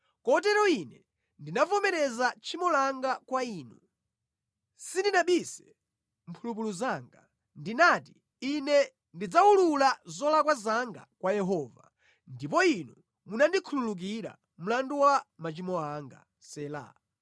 Kotero ine ndinavomereza tchimo langa kwa Inu, sindinabise mphulupulu zanga. Ndinati, “Ine ndidzawulula zolakwa zanga kwa Yehova, ndipo Inu munandikhululukira mlandu wa machimo anga.” Sela